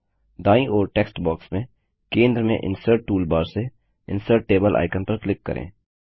दायीं ओर text box में केंद्र में इनसर्ट टूलबार से इंसर्ट टेबल आइकन पर क्लिक करें